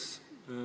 Jürgen Ligi, palun!